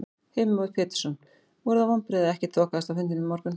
Heimir Már Pétursson: Voru það vonbrigði að ekkert þokaðist á fundinum í morgun?